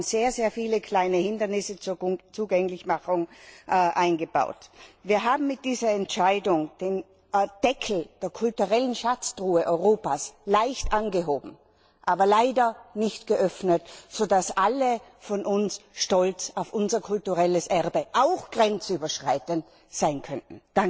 Wir haben sehr viele kleine Hindernisse zur Zugänglichmachung eingebaut. Wir haben mit dieser Entscheidung den Deckel der kulturellen Schatztruhe Europas leicht angehoben, die Truhe aber leider nicht geöffnet, so dass alle von uns stolz auf unser kulturelles Erbe auch grenzüberschreitend sein können.